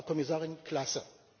Frau Kommissarin, Klasse!